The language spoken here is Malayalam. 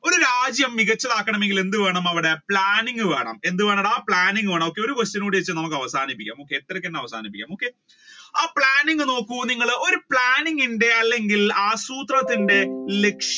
ഒരു രാജ്യം മികച്ചതാകന്നെങ്കിൽ എന്ത് വേണം അവിടെ വേണം എന്ത് വേണം ഒരു കൂടി വെച്ച് നമ്മുക്ക് അവസാനിപ്പിക്കാം അവസാനിപ്പിക്കാം ആ planning നോക്കൂ നിങ്ങൾ ഒരു planning ഇല്ലെങ്കിൽ ആസൂത്രണത്തിന്റെ